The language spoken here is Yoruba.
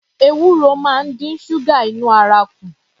Ewuro máa ń dín ṣúgà inú ara kù